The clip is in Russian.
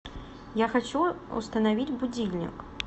я хочу установить будильник